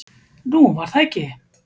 """Nú, var það ekki?"""